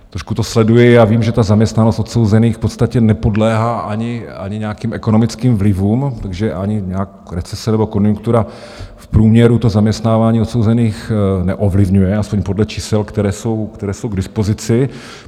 Trošku to sleduji a vím, že ta zaměstnanost odsouzených v podstatě nepodléhá ani nějakým ekonomickým vlivům, takže ani nějaká recese nebo konjunktura v průměru to zaměstnávání odsouzených neovlivňuje, aspoň podle čísel, která jsou k dispozici.